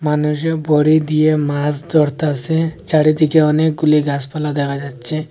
মানুষে বড়ি দিয়ে মাছ ধরতাছে চারিদিকে অনেকগুলি গাছপালা দেখা যাচ্ছে।